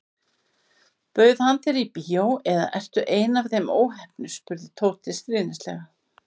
Bauð hann þér í bíó eða ertu ein af þeim óheppnu spurði Tóti stríðnislega.